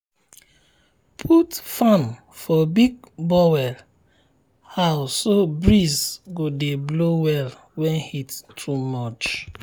write number for animal um house make person fit um sabi when dem clean am um or if animal sick.